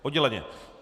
Odděleně?